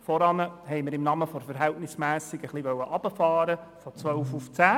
Zuvor wollten wir im Namen der Verhältnismässigkeit etwas herunterfahren, nämlich von 12 auf 10.